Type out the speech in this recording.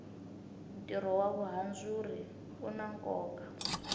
tiro wa vuhandzuri una koka